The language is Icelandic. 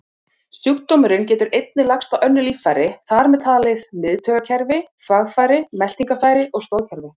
Sjúkdómurinn getur einnig lagst á önnur líffæri, þar með talið miðtaugakerfi, þvagfæri, meltingarfæri og stoðkerfi.